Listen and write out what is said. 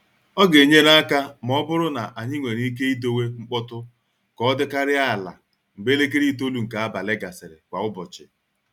Ọ ga-enyere aka ma ọ bụrụ na anyị nwere ike idowe mkpọtụ ka ọ dịkarịa ala mgbe elekere itolu nke abalị gasịrị kwa ụbọchị.